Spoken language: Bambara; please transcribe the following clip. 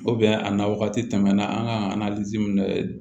a na wagati tɛmɛna an kan